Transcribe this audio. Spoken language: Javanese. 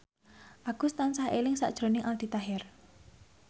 Agus tansah eling sakjroning Aldi Taher